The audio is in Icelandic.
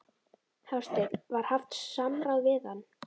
Hafsteinn: Var haft samráð við hann?